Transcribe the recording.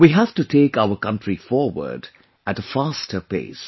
We have to take our country forward at a faster pace